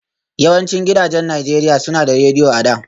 Yawancin gidajen Najeriya suna da Rediyo a da